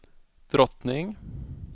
drottning